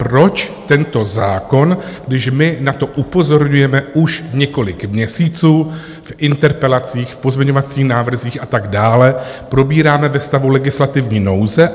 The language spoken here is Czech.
Proč tento zákon, když my na to upozorňujeme už několik měsíců v interpelacích, v pozměňovacích návrzích a tak dále, probíráme ve stavu legislativní nouze?